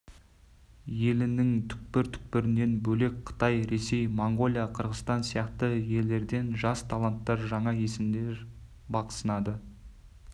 елінің түкпір-түкпірінен бөлек қытай ресей моңғолия қырғызстан сияқты елдерден жас таланттар жаңа есімдер бақ сынады